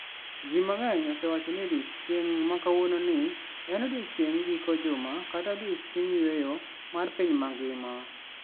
Ji mang'eny osewacho ni odiechieng' ma kawuononi en odiechieng giko juma kata odiechieng yueyo mar piny mangima.